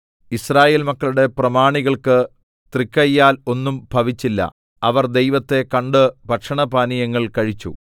യിസ്രായേൽ മക്കളുടെ പ്രമാണികൾക്ക് തൃക്കയ്യാൽ ഒന്നും ഭവിച്ചില്ല അവർ ദൈവത്തെ കണ്ട് ഭക്ഷണപാനീയങ്ങൾ കഴിച്ചു